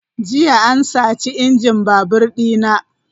.Jiya an sace injin babur dina.